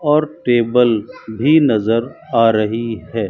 और टेबल भी नजर आ रही है।